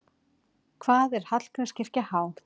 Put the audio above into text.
Hvað er Hallgrímskirkja há?